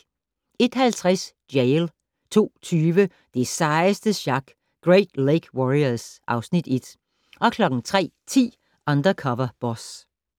01:50: Jail 02:20: Det sejeste sjak - Great Lake Warriors (Afs. 1) 03:10: Undercover Boss